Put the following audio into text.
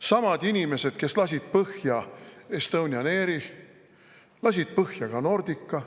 Samad inimesed, kes lasid põhja Estonian Airi, lasid põhja ka Nordica.